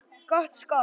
Gott skot.